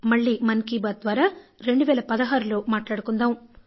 మళ్లీ మన్కీ బాత్ ద్వారా 2016లో మాట్లాడుకుందాం